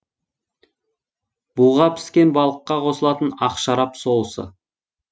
буға піскен балыққа қосылатын ақ шарап соусы